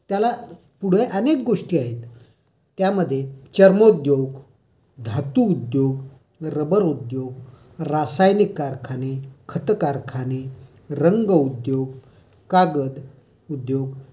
त्याला पुढे अनेक गोष्टी आहेत. त्यामध्ये चर्मोद्योग, धातू उद्योग, रबर उद्योग, रसायनिक कारखाने, खत कारखाने, रंग उद्योग कागद उद्योग,